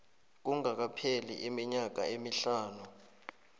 kungakapheli iminyaka emihlanu